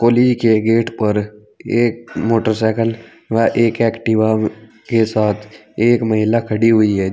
के गेट पर एक मोटरसाइकिल व एक एक्टिवाव के साथ एक महिला खड़ी हुई है।